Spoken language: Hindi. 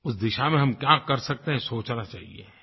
उस दिशा में हम क्या कर सकते हैं सोचना चाहिये